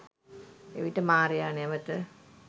එවිට මාරයා නැවත